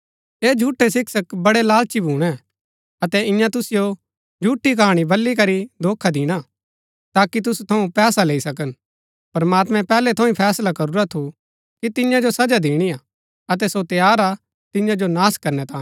ऐह झूठै शिक्षक बड़ै लालची भूणै अतै इन्या तुसिओ झूठी कहाणी बली करी धोखा दिणा ताकि तुसु थऊँ पैसा लैई सकन प्रमात्मैं पैहलै थऊँ ही फैसला करूरा थू कि तिन्या जो सजा दिणी हा अतै सो तैयार हा तिन्या जो नाश करनै तांये